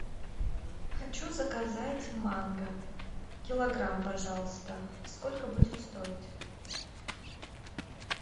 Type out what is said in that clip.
хочу заказать манго килограмм пожалуйста сколько будет стоить